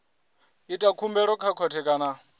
ita khumbelo kha khothe kana